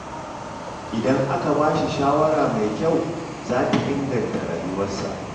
Idan aka ba shi shawara mai kyau, za ta inganta rayuwarsa.